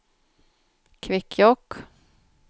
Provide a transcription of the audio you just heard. Kvikkjokk